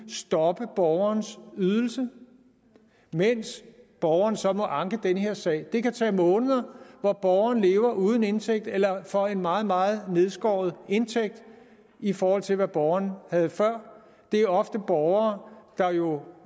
stoppe borgerens ydelse mens borgeren så må anke den her sag det kan tage måneder hvor borgeren lever uden indtægt eller for en meget meget nedskåret indtægt i forhold til hvad borgeren havde før det er ofte borgere der jo